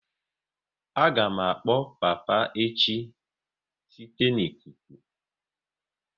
A ga m akpọ papa echi site n'ikuku